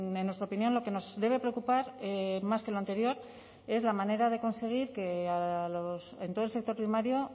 en nuestra opinión lo que nos debe preocupar más que lo anterior es la manera de conseguir que en todo el sector primario